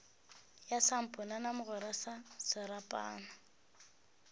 ya samponana mogwera na serapana